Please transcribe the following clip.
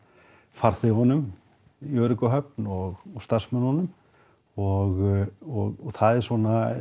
farþegunum í örugga höfn og starfsmönnunum og það eru svona